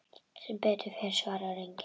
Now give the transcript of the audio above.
Sem betur fer svarar enginn.